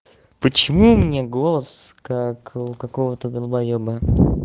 почему у меня голос как у какого-то долбоёба